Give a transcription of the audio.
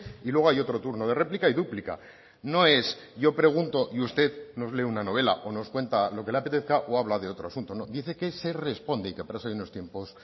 y luego hay otro turno de réplica y dúplica no es yo pregunto y usted nos lee una novela o nos cuenta lo que le apetezca o habla de otro asunto no dice que se responde y que para eso hay unos tiempos